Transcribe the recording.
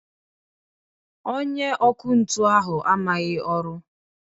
Onye ọkụ ntụ ahụ amaghị ọrụ